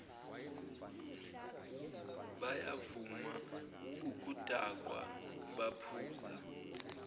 bayavama ukudakwa baphuza